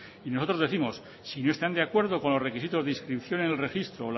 y nosotros décimos si no están de acuerdo con los requisitos de inscripción en el registro o